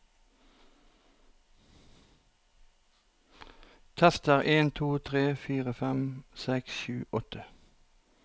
Tester en to tre fire fem seks sju åtte